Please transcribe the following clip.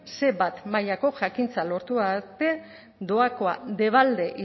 ce bat mailako jakintza lortu arte doakoa debalde